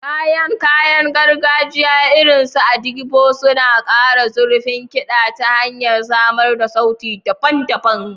Kayan kayan gargajiya, irin su agidigbo, suna ƙara zurfin kiɗa ta hanyar samar da sauti daban-daban.